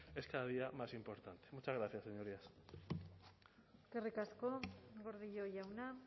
es cada día más importante muchas gracias señorías eskerrik asko gordillo jauna